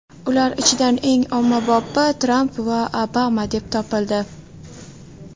Ular ichidan eng ommabopi Tramp va Obama deb topildi.